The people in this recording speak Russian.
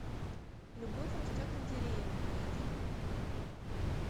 любовь растет на деревьях найди